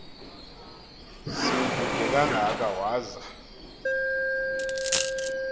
sikude kangaka waza